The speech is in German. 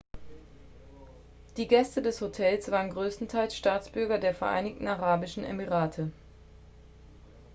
die gäste des hostels waren größtenteils staatsbürger der vereinigten arabischen emirate